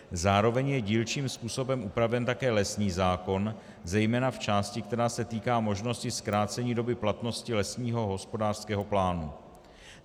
Zároveň je dílčím způsobem upraven také lesní zákon, zejména v části, která se týká možnosti zkrácení doby platnosti lesního hospodářského plánu.